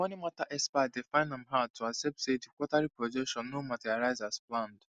the money matter expert dey find am hard to accept say the quarterly projection no materialize as planned